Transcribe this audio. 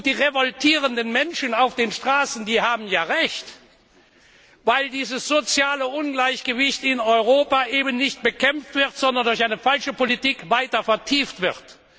Die revoltierenden Menschen auf den Straßen haben ja Recht, weil nämlich dieses soziale Ungleichgewicht in Europa nicht bekämpft, sondern durch eine falsche Politik weiter vertieft wird.